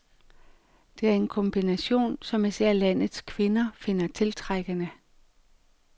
Det er en kombination, som især landets kvinder finder tiltrækkende.